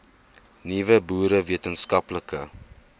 nuwe boere wetenskaplike